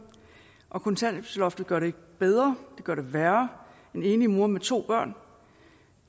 og kontanthjælpsloftet gør det ikke bedre det gør det værre en enlig mor med to børn